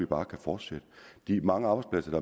bare kan fortsætte de mange arbejdspladser